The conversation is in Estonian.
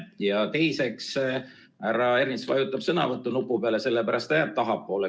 Ja teiseks, härra Ernits vajutab sõnavõtunupu peale, sellepärast ta jääb tahapoole.